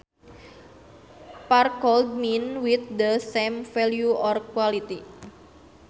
Par could mean with the same value or quality